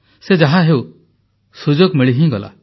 ସେ ଯାହାହେଉ ସୁଯୋଗ ମିଳି ହିଁ ଗଲା